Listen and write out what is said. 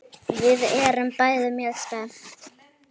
Við erum bæði mjög spennt.